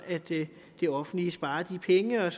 det offentlige sparer de penge og